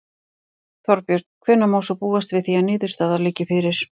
Þorbjörn: Hvenær má svo búast við því að niðurstaða liggi fyrir?